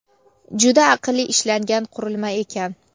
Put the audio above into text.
Juda aqlli ishlangan qurilma ekan!.